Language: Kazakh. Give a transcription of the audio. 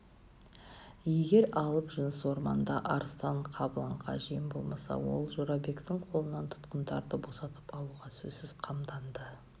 егер алып жыныс орманда арыстан-қабыланға жем болмаса ол жорабектің қолынан тұтқындарды босатып алуға сөзсіз қамданады